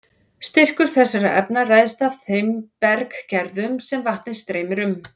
Styrkur þessara efna ræðst af þeim berggerðum sem vatnið streymir um.